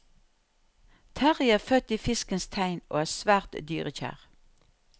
Terrie er født i fiskens tegn og er svært dyrekjær.